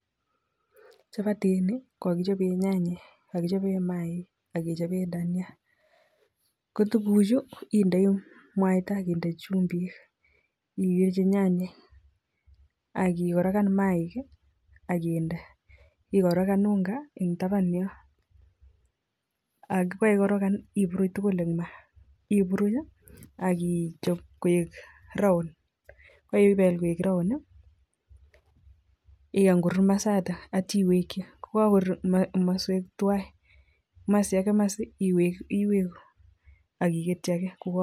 Chapatiinii ko kakichopee nyanyeek AK.maiik AK Dania ikare akigorogam tugul Eng maaa akichop koek around ko.kakor iwekchi